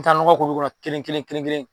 N me taa nɔgɔ k'olukɔrɔ kelen kelen kelen kelen